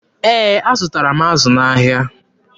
Ee, azụtara m azụ n'ahịa.